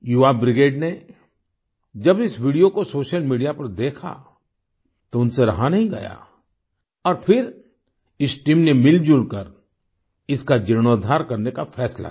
युवा ब्रिगेड ने जब इस वीडियो को सोशल मीडिया पर देखा तो उनसे रहा नहीं गया और फिर इस टीम ने मिलजुल कर इसका जीर्णोद्धार करने का फैसला किया